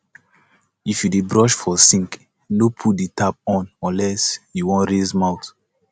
if yu dey brush for sink no put di tap on unless you wan rinse mouth